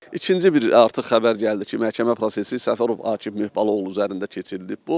İkinci bir artıq xəbər gəldi ki, məhkəmə prosesi Səfərov Akif Möhbalıoğlu üzərində keçirilib.